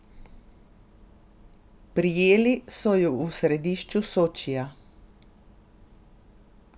Prijeli so ju v središču Sočija.